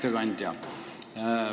Hea ettekandja!